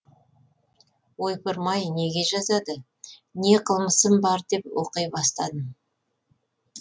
ойпырмай неге жазады не қылмысым бар деп оқи бастадым